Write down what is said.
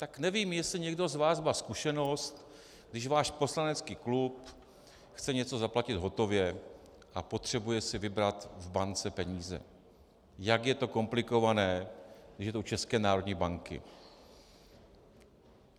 Tak nevím, jestli někdo z vás má zkušenost, když váš poslanecký klub chce něco zaplatit hotově a potřebuje si vybrat v bance peníze, jak je to komplikované, když je to u České národní banky.